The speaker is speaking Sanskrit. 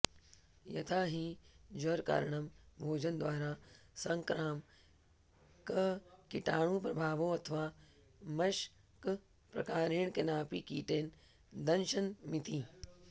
यथा हि ज्वरकारणं भोजनद्वारा सङ्क्रामककीटाणुप्रभावोऽथवा मशकप्रकारेण केनाऽपि कीटेन दंशनमिति